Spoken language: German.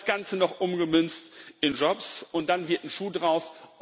Das Ganze noch umgemünzt in Jobs, und dann wird ein Schuh daraus.